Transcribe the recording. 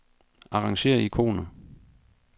Arrangér ikoner.